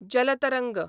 जल तरंग